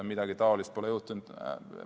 Midagi taolist pole juhtunud.